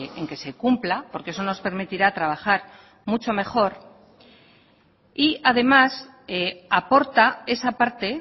en que se cumpla porque eso nos permitirá trabajar mucho mejor y además aporta esa parte